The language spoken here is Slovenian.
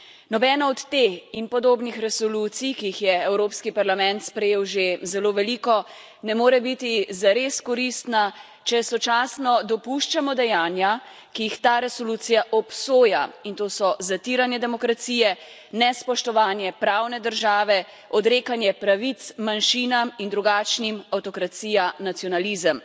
Nobena od te in podobnih resolucij, ki jih je Evropski parlament sprejel že zelo veliko, ne more biti zares koristna, če sočasno dopuščamo dejanja, ki jih ta resolucija obsoja, in to so zatiranje demokracije, nespoštovanje pravne države, odrekanje pravic manjšinam in drugačnim, avtokracija, nacionalizem.